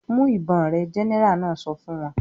"Mú ìbọn rẹ!" Gẹ́nẹrà náà sọ fún wọn.